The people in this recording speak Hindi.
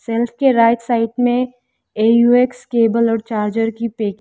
सेल्फ के राइट साइड में ए_यू_एक्स केबल और चार्जर की पैक --